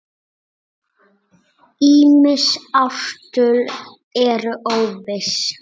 Ýmis ártöl eru óviss.